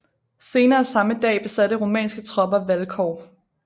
Senere samme dag besatte rumænske tropper Vâlcov